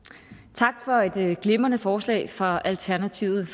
tak for et glimrende forslag fra alternativet